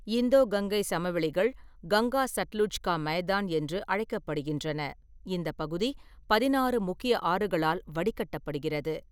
இந்தோ கங்கை சமவெளிகள் 'கங்கா-சட்லுஜ் கா மைதான்' என்று அழைக்கப்படுகின்றன, இந்த பகுதி பதினாறு முக்கிய ஆறுகளால் வடிகட்டப்படுகிறது.